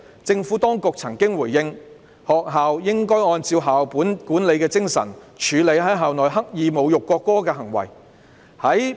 政府當局曾回應，學校應按校本管理精神處理在校內刻意侮辱國歌的行為。